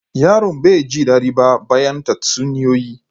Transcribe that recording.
Yaron bai ji dadi ba bayan tatsuniyoyi.